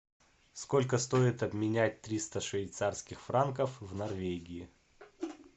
сколько стоит обменять триста швейцарских франков в норвегии